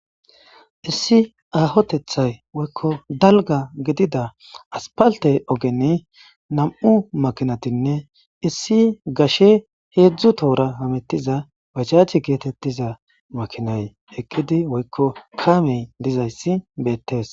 issi ahotethay woykko dalga gidida aspalte ogenne nam7u makinatinne issi gashe heedzdzu tohora hamettiza bachache geetettiza makinay eqqidi woykko kaamey dizayssi beettees